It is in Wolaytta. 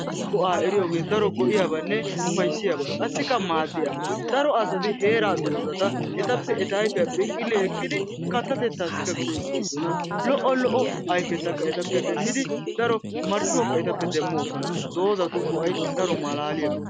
Go"aa eriyoogee daro go"iyaabanne ufayissiyaba qassikka maaddiyaaba. Daro asati heera doozata etappe eta ayifiya phinqili ekkidi kattatetaasikka go"etoosona. Lo"o lo"o ayifetakka etappe demmidi daro marccuwakka etappe demmoosona. Doozatu go"ay daro maalaaliyaaba.